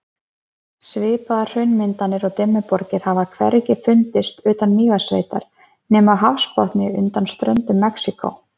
Svipaðar hraunmyndanir og Dimmuborgir hafa hvergi fundist utan Mývatnssveitar nema á hafsbotni undan ströndum Mexíkó.